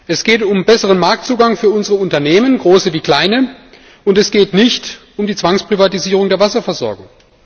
Es geht um besseren Marktzugang für unsere Unternehmen große wie kleine und es geht nicht um die Zwangsprivatisierung der Wasserversorgung.